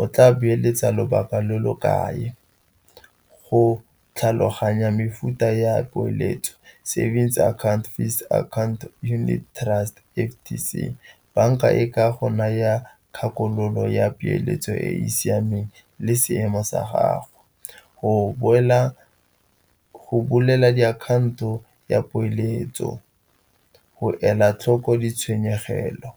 o tla beeletsa lobaka lo lo kae? Go tlhaloganya mefuta ya poeletso, savings account, fixed account, unit trust, F_T_C. Banka e ka go naya kgakololo ya peeletso e e siameng le seemo sa gago. Go bolela diakhaonto ya poeletso go ela tlhoko ditshwenyegelo.